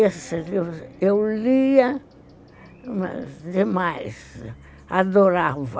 eu lia demais, adorava.